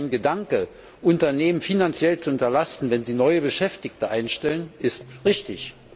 Sein Gedanke, Unternehmen finanziell zu entlasten, wenn sie neue Beschäftigte einstellen, ist richtig.